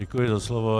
Děkuji za slovo.